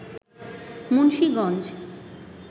Munshiganj